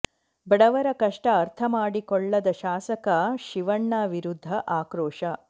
ಬಡವರ ಕಷ್ಟ ಅರ್ಥ ಮಾಡಿಕೊಳ್ಳದ ಶಾಸಕ ಶಿವಣ್ಣ ವಿರುದ್ಧ ಆಕ್ರೋಶ